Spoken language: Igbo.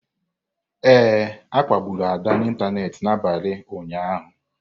Ee, a kpagburu Ada n'ịntanetị n'abalị ụnyaahụ.